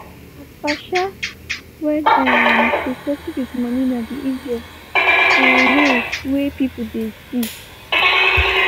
na partial when um to settle with moni na di easiest um way wey people dey see.